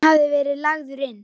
Hann hafði verið lagður inn.